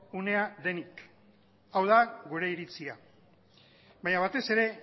unea denik hau da gure iritzia baina batez ere